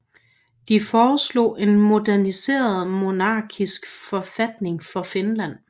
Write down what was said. De foreslog en moderniseret monarkisk forfatning for Finland